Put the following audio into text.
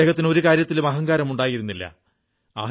ആദ്ദേഹത്തിന് ഒരു കാര്യത്തിലും അഹങ്കാരമുണ്ടായിരുന്നില്ല